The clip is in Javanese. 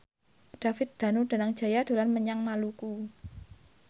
David Danu Danangjaya dolan menyang Maluku